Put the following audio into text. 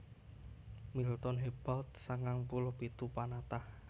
Milton Hebald sangang puluh pitu panatah